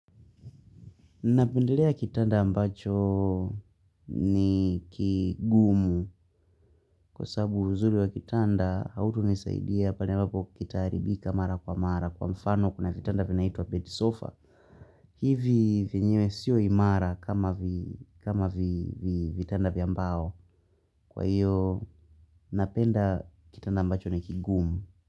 Napendelea kitanda ambacho ni kigumu kwa sababu uzuri wa kitanda hauto nisaidia pale ambapo kitaharibika mara kwa mara kwa mfano kuna vitanda vinaitwa bed sofa. Hivi vyenyewe sio imara kama vitanda vya mbao. Kwa hiyo napenda kitanda ambacho ni kigumu.